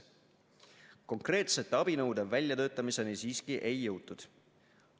Konkreetsete abinõude väljatöötamiseni siiski ei jõutud.